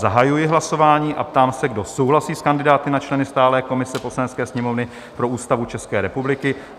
Zahajuji hlasování a ptám se, kdo souhlasí s kandidáty na členy stálé komise Poslanecké sněmovny pro Ústavu České republiky?